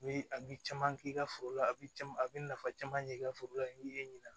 U bi a bi caman k'i ka foro la a bi caman a bi nafa caman ɲɛ i ka foro la ɲ'i ɲina